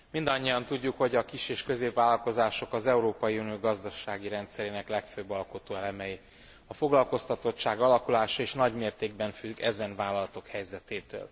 Mindannyian tudjuk, hogy a kis és középvállalkozások az Európai Unió gazdasági rendszerének legfőbb alkotóelemei, a foglalkoztatottság alakulása is nagy mértékben függ ezen vállalatok helyzetétől.